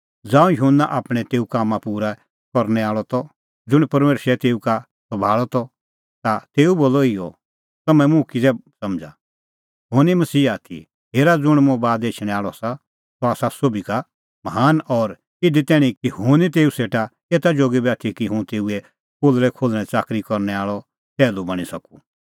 ज़ांऊं युहन्ना आपणैं तेऊ कामां पूरै करनै आल़अ त ज़ुंण परमेशरै तेऊ का सभाल़अ त ता तेऊ बोलअ इहअ तम्हैं मुंह किज़ै समझ़ा हुंह निं मसीहा आथी हेरा ज़ुंण मुंह बाद एछणैं आल़अ आसा सह आसा सोभी का महान और इधी तैणीं कि हुंह निं तेऊ सेटा एता जोगी बी आथी कि हुंह तेऊए पोलल़ै खोल्हणैं च़ाकरी करनै आल़अ टैहलू बणीं सकूं